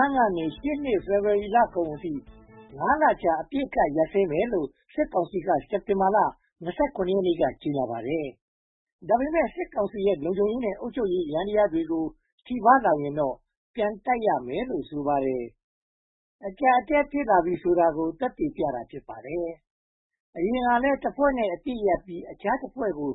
န်းကနေ ရှေ့နှစ်ဖေဖေါ်ဝါရီလကုန်အထိ (၅) လအကြာ အပစ်အခတ်ရပ်စဲမယ်လို့ စစ်ကောင်စီက စက်တင်ဘာလ (၂၇) ရက်နေ့က ကြေညာပါတယ်။ ဒါပေမဲ့ စစ်ကောင်စီရဲ့ လုံခြုံရေးနဲ့ အုပ်ချုပ်ရေးယန္တရားကို ထိပါးလာရင်တော့ ပြန်တိုက်ရမယ်လို့ ဆိုပါတယ်။ အကျပ်အတည်း ဖြစ်လာပြီးဆိုတာကို သက်သေပြတာ ဖြစ်ပါတယ်။ အရင်ကလည်း တဖွဲ့နဲ့အပစ်ရပ်ပြီး အခြားတဖွဲ့ကို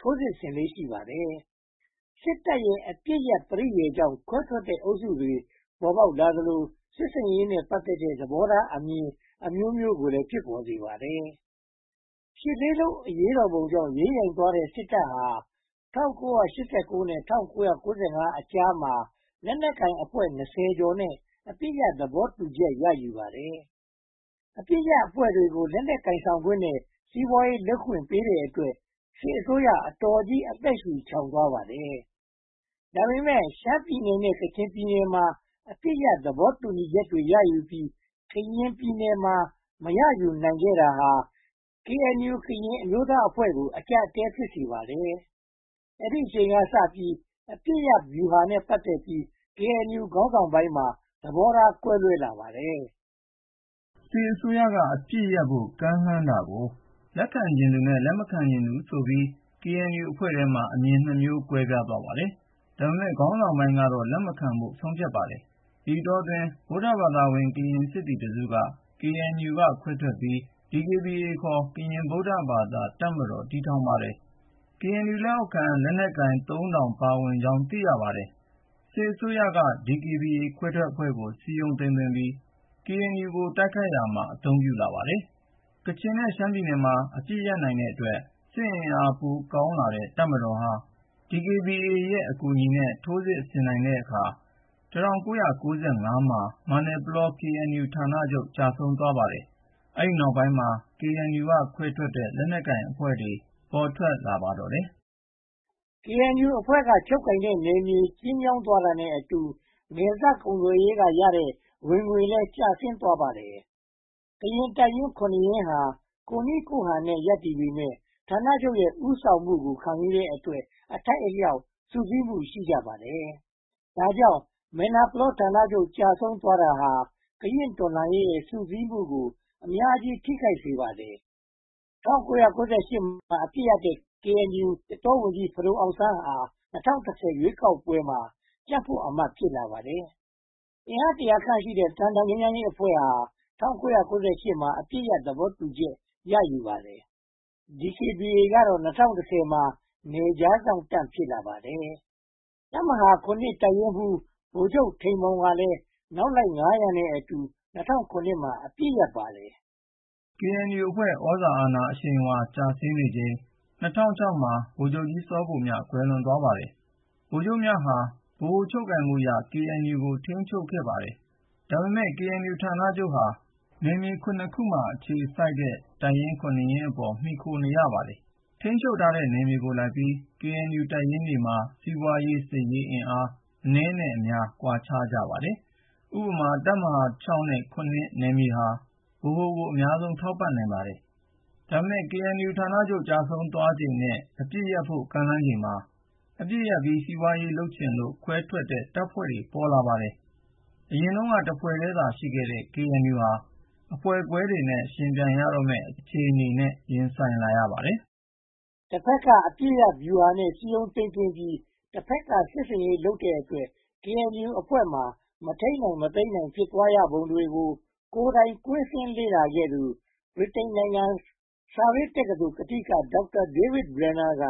ထိုးစစ်ဆင်လေ့ ရှိပါတယ်။ စစ်တပ်ရဲ့ အပစ်ရပ်ပရိယာရ်ကြောင့် ခွဲထွက်တဲ့အုပ်စုတွေ ပေါ်ပေါက်လာသလို စစ်ဆင်ရေးနဲ့ ပတ်သက်တဲ့ သဘောထားအမြင် အမျိုးမျိုးကိုလည်း ဖြစ်ပေါ်စေပါတယ်။ ရှစ်လေးလုံးအရေးတော်ပုံကြောင့် ယိမ်းယိုင်သွားတဲ့ စစ်တပ်ဟာ ၁၉၈၉ နဲ့ ၁၉၉၅ အကြားမှာ လက်နက်ကိုင်အဖွဲ့ (၂၀) ကျော်နဲ့ အပစ်ရပ် သဘောတူချက် ရယူခဲ့ပါတယ်။ အပစ်ရပ်အဖွဲ့တွေကို လက်နက်ကိုင်ဆောင်ခွင့်နဲ့ စီးပွားရေးလုပ်ခွင့်ပေးတဲ့အတွက် စစ်အစိုးရ အတော်ကြီး အသက်ရှုချောင်သွားပါတယ်။ ဒါပေမဲ့ ရှမ်းပြည်နယ်နဲ့ ကချင်ပြည်နယ်မှာ အပစ်ရပ်သဘောတူချက်တွေ ရယူနိုင်ခဲ့ပြီး ကရင်ပြည်နယ်မှာ မရယူနိုင်ခဲ့တာဟာ KNU ကရင်အဖွဲ့ကို အကျပ်အတည်း ဖြစ်စေခဲ့ပါတယ်။ အဲဒီအချိန်ကစပြီး အပစ်ရပ်ဗျူဟာနဲ့ ပတ်သက်ပြီး KNU ခေါင်းဆောင်ပိုင်းမှာ သဘောထားကွဲလွဲလာပါတယ်။ စစ်အစိုးရအပစ်ရပ်ဖို့ ကမ်းလှမ်းတာကို လက်ခံချင်သူနဲ့ လက်ခံချင်သူဆိုပြီး KNU အဖွဲ့မှာ အမြင် (၂) မျိုး ကွဲပြားသွားပါတယ်။ ဒါပေမဲ့ ခေါင်းဆောင်ပိုင်းက လက်မခံဖို့ ဆုံးဖြတ်ပါတယ်။ ဒီအတောအတွင်း ဗုဒ္ဓဘာသာဝင် ကရင်စစ်သည်တစုက KNU က ခွဲထွက်ပြီး၊ DKBA ခေါ် ကရင်ဗုဒ္ဓဘာသာတပ်ကို တည်ထောင်ပါတယ်။ KNU လက်အောက်ခံ လက်နက်ကိုင် (၃၀၀၀) ပါဝင်ကြောင်း သိရပါတယ်။ စစ်အစိုးရက DKBA ခွဲထွက်အဖွဲ့ကို စည်းရုံးသိမ်းသွင်းပြီး KNU ကို တိုက်ခိုက်ရာမှာ အသုံးပြုပါတယ်။ ကချင်နဲ့ ရှမ်းပြည်နယ်မှာ အပစ်ရပ်နိုင်တဲ့အတွက် စစ်အင်အားပိုကောင်းလာတဲ့ တပ်မတော်ဟာ DKBA အကူအညီနဲ့ ထိုးစစ်ဆင်တဲ့အခါ ၁၉၉၅ မှာ မယ်နာပလော KNU ဌာနချုပ် ကျဆုံးသွားပါတယ်။ အဲဒီနောက်ပိုင်းမှာ KNU က ခွဲထွက်ခဲ့တဲ့ လက်နက်ကိုင်အဖွဲ့တွေ ပေါ်ထွက်လာပါတော့တယ်။ KNU အဖွဲ့က ချုပ်ကိုင်တဲ့နယ်မြေ ကျဉ်းမြောင်းသွားတာနဲ့အတူ နယ်စပ်ကုန်သွယ်ရေးကရတဲ့ ဝင်ငွေလည်း ကျဆင်းသွားပါတယ်။ ကရင်တပ်ရင်း (၇) ရင်းဟာ ကိုယ့်နည်းကိုယ့်ဟန်နဲ့ ရပ်တည်ပေမယ့်၊ ဌာနချုပ်ရဲ့ ဦးဆောင်မှုကို ခံယူနိုင်တဲ့အတွက် အထိုက်အလျောက်စုစည်းမှု ရှိကြပါတယ်။ ဒါကြောင့် မယ်နာပလောဌာနချုပ် ကျဆုံးသွားတာဟာ ကရင့်တော်လှန်ရေးရဲ့ စုစည်းမှုကို အများကြီးထိစေပါတယ်။ ၁၉၉၈ မှာ အပစ်ရပ်တဲ့ KNU သစ်တောဝန်ကြီး ဖဒိုအောင်ဆန်းဟာ ၂၀၁၀ ရွေးကောက်ပွဲမှာ ကြံ့ဖွတ်အမတ် ဖြစ်လာပါတယ်။ အင်အားတရာခန့်ရှိတဲ့ သံတောင်ငြိမ်းချမ်းရေးအဖွဲ့က ၁၉၉၈ မှာ အပစ်ရပ်ဖို့ သဘောတူပါတယ်။ DKBA ကတော့ ၂၀၁၀ မှာ နယ်ခြားစောင့်တပ် ဖြစ်လာပါတယ်။ တပ်မဟာ (၇) တပ်ရင်းမှူး ဗိုလ်ချုပ်ထိန်မောင်ကလည်း နောက်လိုက် (၅၀၀) နဲ့အတူ ၂၀၀၇ မှာ အပစ်ရပ်ပါတယ်။ KNU အဖွဲ့ သြဇာအာဏာ အရှိန်အဝါ ကျဆင်းနေချိန် ၂၀၀၆ မှာ ဗိုလ်ချုပ်ကြီးစောဗိုလ်မြ ကွယ်လွန်သွားပါတယ်။ ဗိုလ်ချုပ်မြဟာ ဗဟိုချုပ်ကိုင်မှုအရ KNU ကို ထိန်းချုပ်ခဲ့ပါတယ်။ ဒါပေမဲ့ KNU ဌာနချုပ်ဟာ နယ်မြေ (၇) ခုမှာ အခြေစိုက်တဲ့ တပ်ရင်း (၇) ရင်းအပေါ်မှာ မှီခိုနေရပါတယ်။ ထိန်းချုပ်တဲ့နယ်မြေကိုလိုက်ပြီး KNU တပ်ရင်းတွေမှာ စီးပွားရေး၊ စစ်ရေးအင်အား အနည်းအများ ကွာခြားကြပါတယ်။ ဥပမာ တပ်မဟာ (၆) နဲ့ (၇) နယ်မြေဟာ ဗဟိုကို အများဆုံးထောက်ပံ့နိုင်ပါတယ်။ ဒါပေမဲ့ KNU ဌာနချုပ် ကျဆုံးသွားချိန်နဲ့ အပစ်ရပ်ကမ်းလှမ်းချိန်မှာ အပစ်ရပ်ပြီး စီးပွားရေးလုပ်ချင်လို့ ခွဲထွက်တဲ့ တပ်ဖွဲ့တွေ ပေါ်ထွက်လာပါတယ်။ အရင်တုန်းက တဖွဲ့တည်းသာ ရှိခဲ့တဲ့ KNU ဟာ အဖွဲ့ခွဲတွေနဲ့ ယှဉ်ပြိုင်ရတော့မယ့် အခြေအနေကို ရင်ဆိုင်လာရပါတော့တယ်။ တဘက်က အပစ်ရပ်ဗျူဟာနဲ့ စည်းရုံးသိမ်းသွင်းပြီး တဘက်က စစ်ဆင်ရေးလုပ်တဲ့အတွက် KNU အဖွဲ့မှာ မထိန်းနိုင်မသိမ်းနိုင် ဖြစ်သွားရပုံတွေကို ကိုယ်တိုင်ကွင်းဆင်းလေ့လာခဲ့သူ ဗြိတိန်နိုင်ငံ Surrey တက္ကသိုလ်ကထိက Dr. David Brenner က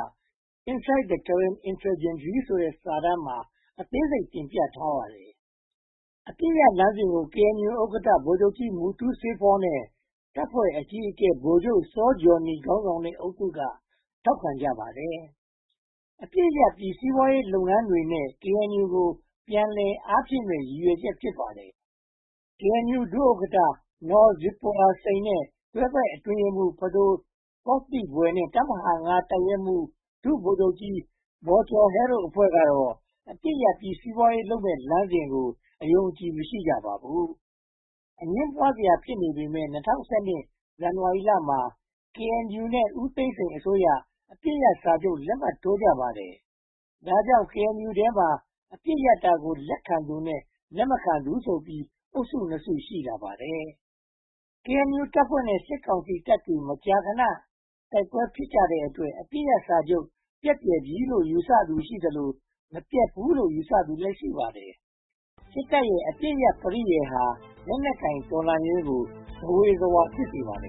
“Inside the Karen Insurgency” ဆိုတဲ့ စာတမ်းမှာ အသေးစိတ်တင်ပြထားပါတယ်။ အပစ်ရပ်လမ်းစဉ်ကို KNU ဥက္ကဋ္ဌ ဗိုလ်ချုပ်ကြီးစောမူတူးစေးဖောနဲ့ တပ်ဖွဲ့အကြီးအကဲ ဗိုလ်ချုပ်စောဂျောနီ ခေါင်းဆောင်တဲ့အုပ်စု ထောက်ခံကြပါတယ်။ အပစ်ရပ်ပြီး စီးပွားရေးလုပ်ငန်းတွေနဲ့ KNU ကို ပြန်လည်အားဖြည့်မယ်ဆိုတဲ့ ရည်ရွယ်ချက် ဖြစ်ပါတယ်။ KNU ဒု-ဥက္ကဋ္ဌ Naw Zipporah Sein, တွဲဘက်အတွင်းရေးမှူး ဖဒိုသောသိဘွယ်နဲ့ တပ်မဟာ (၅) တပ်ရင်းမှူး ဒုဗိုလ်ချုပ်ကြီးဘော်ကျော်ဟဲတို့ အဖွဲ့ကတော့ အပစ်ရပ်ပြီး စီးပွားရေးလုပ်ရမယ့် လမ်းစဉ်ကို အယုံအကြည် မရှိကြပါဘူး။ အငြင်းပွားစရာ ဖြစ်နေပေမယ့် ၂၀၁၂ ဇန်နဝါရီမှာ KNU နဲ့ ဦးသိန်းစိန်အစိုးရတို့ အပစ်ရပ်စာချုပ် လက်မှတ်ရေးထိုးကြပါတယ်။ ဒါကြောင့် KNU ထဲမှာ အပစ်ရပ်တာကို လက်ခံသူနဲ့ လက်မခံသူဆိုပြီး အုပ်စု (၂) စု ရှိလာပါတယ်။ KNU တပ်ဖွဲ့နဲ့ စစ်ကောင်စီတပ်တွေ မကြာခဏ တိုက်ပွဲဖြစ်ကြတဲ့အတွက် အပစ်ရပ်စာချုပ် ပျက်ပြယ်ပြီလို့ ယူဆသူရှိသလို၊ မပျက်ဘူးလို့ ယူဆသူတွေလည်း ရှိပါတယ်။ စစ်တပ်ရဲ့ အပစ်ရပ်ပရိယာရ်ဟာ လက်နက်ကိုင်တော်လှန်ရေးကို ဇဝေဇဝါ ဖြစ်စေပါတယ်